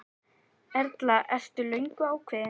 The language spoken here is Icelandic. Erla: Ertu löngu ákveðinn?